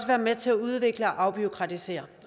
være med til at udvikle og afbureaukratisere